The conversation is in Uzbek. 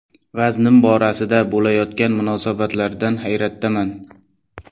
Vaznim borasida bo‘layotgan munosabatlardan hayratdaman.